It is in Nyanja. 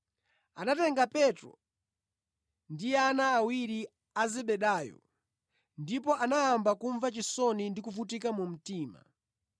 Anatenga Petro ndi ana awiri a Zebedayo, ndipo anayamba kumva chisoni ndi kuvutika mu mtima.